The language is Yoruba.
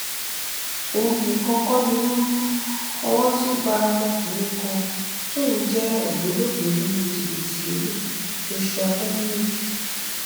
òun nìkan kọ ni wọn mú owó tún bá ọmọkùnrin kan tóun jẹ ògbólógbòó nínú jìbìtì lílu joshua dominic